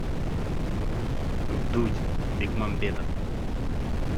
вдудь бекмамбетов